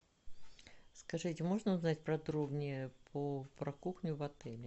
скажите можно узнать подробнее про кухню в отеле